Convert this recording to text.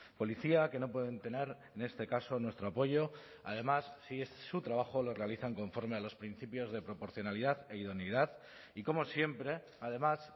policía que no pueden tener en este caso nuestro apoyo además sí es su trabajo lo realizan conforme a los principios de proporcionalidad e idoneidad y como siempre además